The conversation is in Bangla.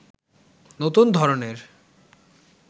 নতুন ধরনের